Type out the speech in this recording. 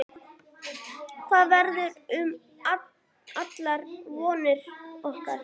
Hvað verður um allar vonir okkar?